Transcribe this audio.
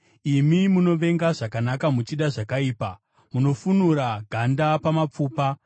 imi munovenga zvakanaka muchida zvakaipa; munofunura ganda pamapfupa;